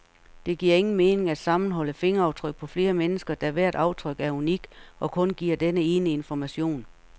Det giver ingen mening at sammenholde fingeraftryk på flere mennesker, da hvert aftryk er unikt og kun giver denne ene information.